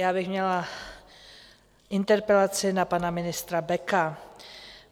Já bych měla interpelaci na pana ministra Beka.